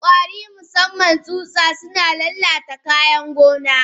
Kwari Musaman tsutsa suna lalata kayan gona.